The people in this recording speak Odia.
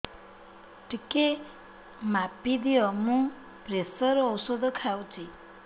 ଟିକେ ମାପିଦିଅ ମୁଁ ପ୍ରେସର ଔଷଧ ଖାଉଚି